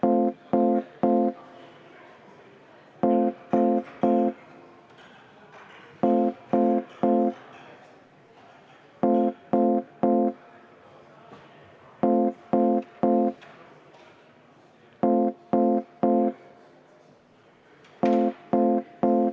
Hääletustulemused Selle ettepaneku poolt hääletas 8 Riigikogu liiget, vastu 56 Riigikogu liiget.